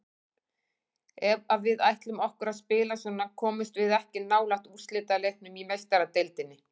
Ef að við ætlum okkur að spila svona komumst við ekki nálægt úrslitaleiknum í Meistaradeildinni.